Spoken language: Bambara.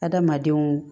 Adamadenw